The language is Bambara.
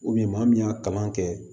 maa min y'a kalan kɛ